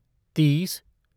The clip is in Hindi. तीस